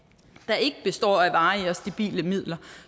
der ikke består af varige og stabile midler